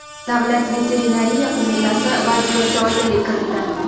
Davlat veterinariya qo‘mitasi vaziyatga oydinlik kiritdi.